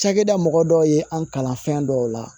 Cakɛda mɔgɔ dɔw ye an kalan fɛn dɔw la